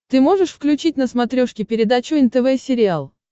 ты можешь включить на смотрешке передачу нтв сериал